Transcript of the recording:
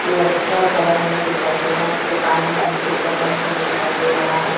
लड़का खड़ा हुआ दिखाई दे रहा है उसके कान में ब्लूटूथ लगा हुआ दिखाई दे रहा है।